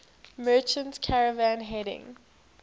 merchant caravan heading